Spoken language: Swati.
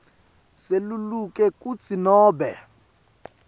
seluleka kutsi nobe